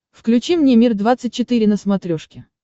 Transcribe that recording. включи мне мир двадцать четыре на смотрешке